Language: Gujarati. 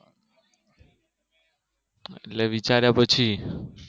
એટલે વિચાર્યા તો છે